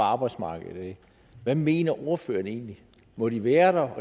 af arbejdsmarkedet hvad mener ordføreren egentlig må de være der